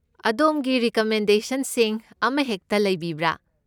ꯑꯗꯣꯝꯒꯤ ꯔꯤꯀꯃꯦꯟꯗꯦꯁꯟꯁꯤꯡ ꯑꯃꯍꯦꯛꯇ ꯂꯩꯕꯤꯕ꯭ꯔꯥ?